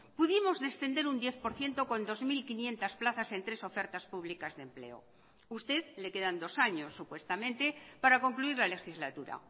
pudimos descender en diez por ciento con dos mil quinientos en tres ofertas públicas de empleo a usted le quedan dos años supuestamente para concluir la legislatura